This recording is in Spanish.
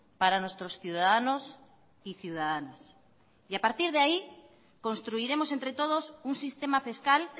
para nuestros ciudadanos y ciudadanas y a partir de ahí construiremos entre todos un sistema fiscal